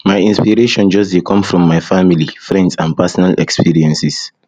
my inspiration just dey come from my family friends and personal experiences